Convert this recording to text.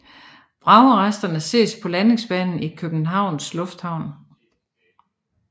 Vragresterne ses på landingsbanen i Københavns Lufthavn